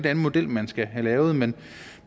af en model man skal have lavet men